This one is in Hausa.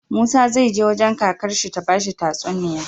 Musa zai je wajan kakar shi ta bashi tatsuniya